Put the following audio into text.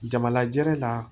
Jamalajɛr'a